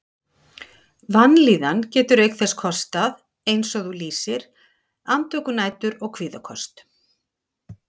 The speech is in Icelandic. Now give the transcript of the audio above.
Vanlíðan getur auk þess kostað, eins og þú lýsir, andvökunætur og kvíðaköst.